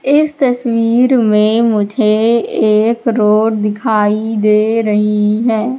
इस तस्वीर में मुझे एक रोड दिखाई दे रही है।